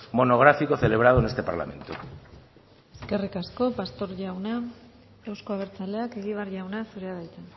monográfico celebrado en este parlamento eskerrik asko pastor jauna euzko abertzaleak egibar jauna zurea da hitza